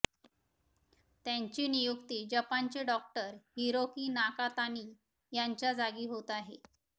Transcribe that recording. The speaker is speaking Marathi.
त्यांची नियुक्ती जपानचे डॉक्टर हिरोकी नाकातानी यांच्या जागी होत आहे